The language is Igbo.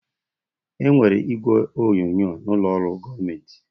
Enwere igwe onyonyo n'ụlọ ọrụ gọọmentị